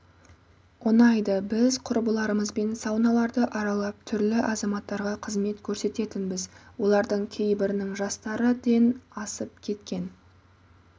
ұнайды біз құрбыларымызбен сауналарды аралап түрлі азаматтарға қызмет көрсететінбіз олардың кейбірінің жастары ден асып кеткен